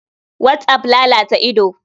Whatsapp lalata ido.